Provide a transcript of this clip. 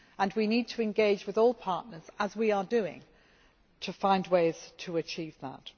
We need to engage with all partners, as we are doing, to find ways to achieve that.